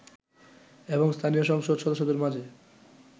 এবং স্থানীয় সংসদ সদস্যদের মাঝে